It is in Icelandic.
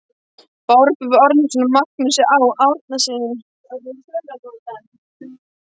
Barböru Árnason og Magnúsi Á. Árnasyni.